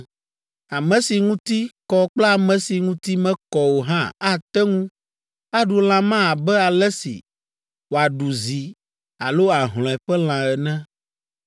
Ame si ŋuti kɔ kple ame si ŋuti mekɔ o hã ate ŋu aɖu lã ma abe ale si wòaɖu zi alo ahlɔ̃e ƒe lã ene,